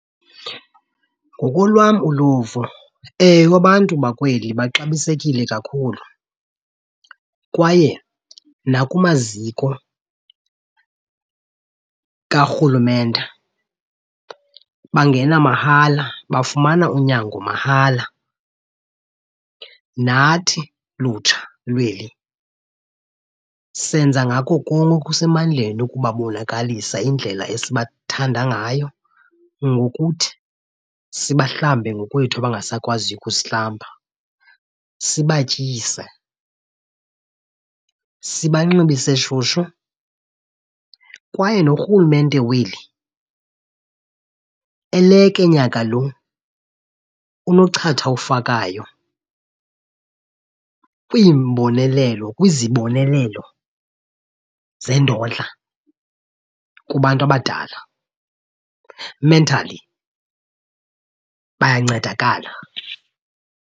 Ngokolwam uluvo, ewe abantu bakweli baxabisekile kakhulu kwaye nakumaziko karhulumente bangena mahala bafumana unyango mahala. Nathi lutsha lweli senza ngako konke okusemandleni ukubabonakalisa indlela esibathandayo ngayo ngokuthi sibahlambe ngokwethu abangasakwaziyo ukuzihlamba, sibatyise, sibanxibise shushu. Kwaye norhulumente weli eleke nyaka lo unochatha awufakayo kwiimbonelelo, kwizibonelelo zendodla kubantu abadala. Mentally bayancedakala.